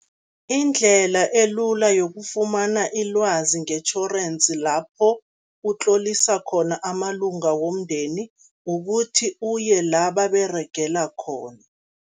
Indlela elula yokufumana ilwazi ngetjhorensi lapho utlolisa khona amalunga womndeni, kukuthi uye la baberegela khona.